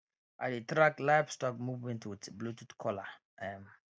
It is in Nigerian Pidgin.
i dey track livestock movement with bluetooth collar um